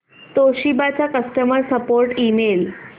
Toshiba चा customer support email